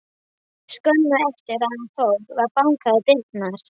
Skömmu eftir að hann fór var bankað á dyrnar.